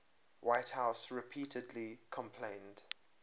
whitehouse repeatedly complained